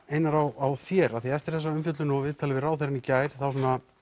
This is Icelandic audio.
Einar á þér af því að eftir þessa umfjöllun og viðtalið við ráðherra í gær þá